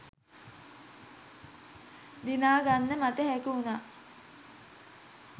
දිනාගන්න මට හැකිවුණා